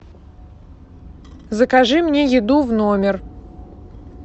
закажи мне еду в номер